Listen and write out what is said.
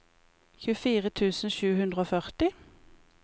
tjuefire tusen sju hundre og førti